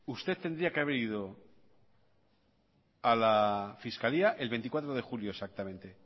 usted tendría que haber ido a la fiscalía el veinticuatro de julio exactamente